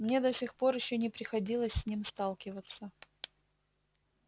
мне до сих пор ещё не приходилось с ним сталкиваться